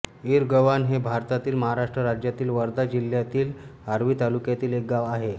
इरगव्हाण हे भारतातील महाराष्ट्र राज्यातील वर्धा जिल्ह्यातील आर्वी तालुक्यातील एक गाव आहे